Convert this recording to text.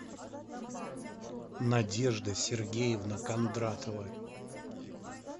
надежда сергеевна кондратова